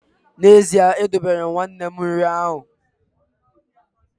N’ezie, edobere m nwanne m nri ahụ